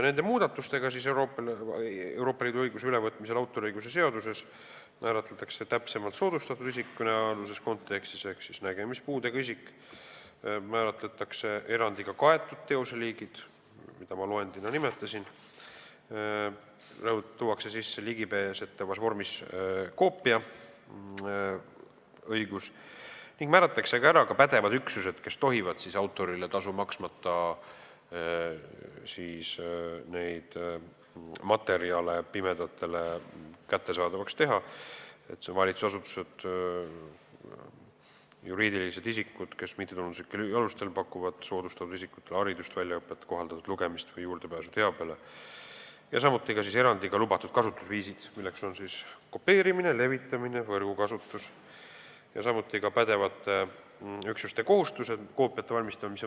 Nende muudatustega, Euroopa Liidu õiguse ülevõtmisega autoriõiguse seadusesse, määratletakse kõnealuses kontekstis täpsemalt soodustatud isik ehk nägemispuudega isik, määratletakse erandiga kaetud teoseliigid, mida ma loendina nimetasin, tuuakse sisse ligipääsetavas vormis koopia levitamise ja kasutamise õigus ning määratakse kindlaks pädevad üksused, kes tohivad autorile tasu maksmata neid materjale pimedatele kättesaadavaks teha , erandiga lubatud kasutusviisid, milleks on kopeerimine, levitamine, võrgukasutus, ja samuti pädevate üksuste kohustused koopiate valmistamisel.